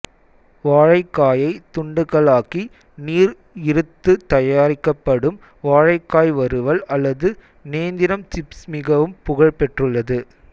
வாழைக்காயை துண்டுகளாக்கி நீர் இறுத்து தயாரிக்கப்படும் வாழைக்காய் வறுவல் அல்லது நேந்திரம் சிப்சு மிகவும் புகழ்பெற்றுள்ளது